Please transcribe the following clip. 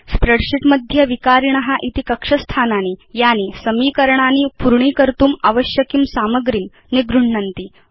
spreadsheet मध्ये विकारिण इति कक्ष स्थानानि सन्ति यानि समीकरणानि पूर्णीकर्तुम् आवश्यकीं सामग्रीं निगृह्णन्ति